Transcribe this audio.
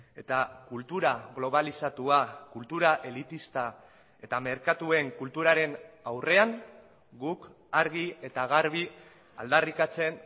eta kultura globalizatua kultura elitista eta merkatuen kulturaren aurrean guk argi eta garbi aldarrikatzen